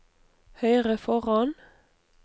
høyre foran